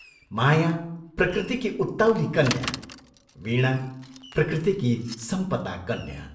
माया प्रकृतिकी उत्ताउली कन्या, वीणा प्रकृतिकी संपता कन्या।